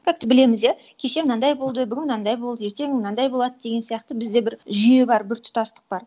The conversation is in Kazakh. как то білеміз иә кеше мынандай болды бүгін мынандай болды ертең мынандай болады деген сияқты бізде бір жүйе бар біртұтастық бар